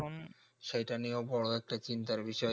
সেটা নিয়েও একটা বড়ো চিন্তার বিষয়